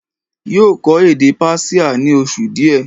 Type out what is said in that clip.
yóò kọ́ èdè Persia ní oṣù díẹ̀